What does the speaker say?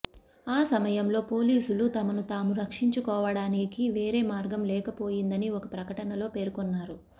ఆ సమయంలో పోలీసులు తమను తాము రక్షించుకోవటానికి వేరే మార్గం లేకపోయిందని ఒక ప్రకటనలో పేర్కొన్నారు